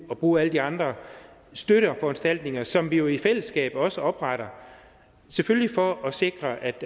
og bruge alle de andre støtteforanstaltninger som vi jo i fællesskab også opretter selvfølgelig for at sikre at